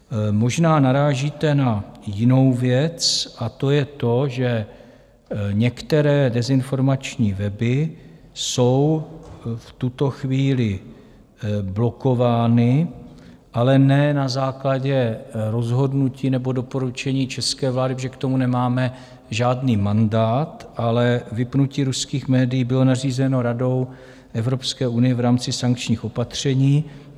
Možná narážíte na jinou věc, a to je to, že některé dezinformační weby jsou v tuto chvíli blokovány, ale ne na základě rozhodnutí nebo doporučení české vlády, protože k tomu nemáme žádný mandát, ale vypnutí ruských médií bylo nařízeno Radou Evropské unie v rámci sankčních opatření.